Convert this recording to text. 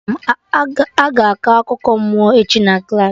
Aga akọ akụkọ mmụọ echi na klaasị